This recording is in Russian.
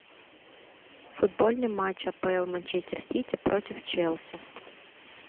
футбольный матч апл манчестер сити против челси